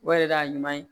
O yɛrɛ de y'a ɲuman ye